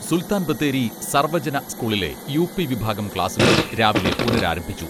സുൽത്താൻ ബത്തേരി സർവ്വജന സ്കൂളിലെ യു.പി വിഭാഗം ക്ലാസ്സുകൾ രാവിലെ പുനരാരംഭിച്ചു.